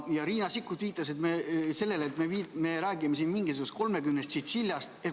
Ja Riina Sikkut viitas, et me räägime mingisugusest 30 tšintšiljast.